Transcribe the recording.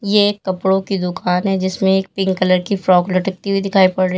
ये एक कपड़ों की दुकान है जिसमें एक पिंक कलर की फ्रॉक लटकती हुई दिखाई पड़ रही--